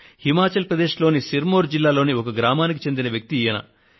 హిమాచల్ ప్రదేశ్ లోని సిర్ మౌర్ జిల్లాలోని ఒక గ్రామానికి చెందిన వ్యక్తి ఈయన